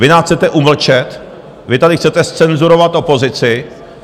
Vy nás chcete umlčet, vy tady chcete zcenzurovat opozici.